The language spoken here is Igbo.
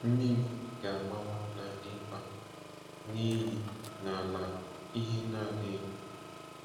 Mmiri ga-agbawa n'ala ịkpa, na iyi n'ala ihe na-adịghị. ”